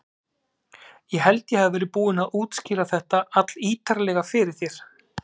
Ég held ég hafi verið búinn að útskýra þetta allítarlega fyrir þér.